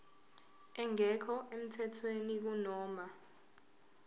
engekho emthethweni kunoma